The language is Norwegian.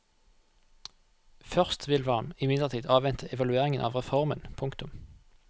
Først vil man imidlertid avvente evalueringen av reformen. punktum